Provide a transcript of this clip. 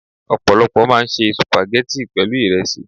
Ọ̀pọ̀lọpọ̀ máa ń se Sùpàgẹ́tì pẹ̀lú ìresí.